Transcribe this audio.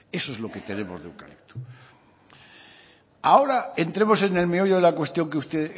eso es lo que tenemos de eucalipto ahora entremos en el meollo de la cuestión que usted